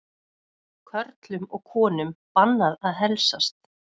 Körlum og konum bannað að heilsast